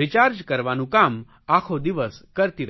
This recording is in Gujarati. રિચાર્જ કરવાનું કામ આખો દિવસ કરતી રહે છે